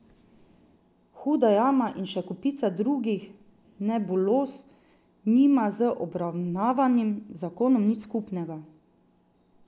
Huda jama in še kopica drugih nebuloz nima z obravnavanim zakonom nič skupnega.